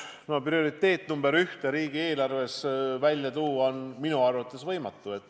No sellist ühte ja ainsat prioriteeti on minu arvates võimatu riigieelarves välja tuua.